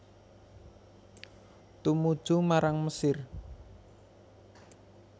Tumuju marang Mesir